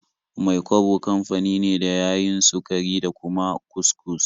Mai-kwabo kafani ne da ya yin sukari da kuma kus-kus.